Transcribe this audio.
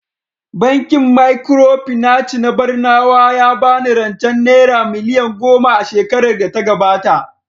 Bankin Micropinaci na Barnawa ya ba ni rancen Naira miliyan goma a shekarar data gabata